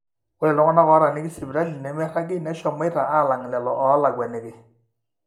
ore iltung'anak ootaaniki sipitali nemeiragi neshomoita alang lelo oolakuaniki